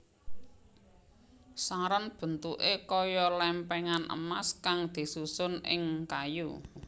Saron bentuké kaya lèmpèngan emas kang disusun ing kayu